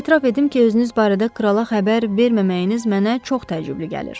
Etiraf edim ki, özünüz barədə krala xəbər verməməyiniz mənə çox təəccüblü gəlir.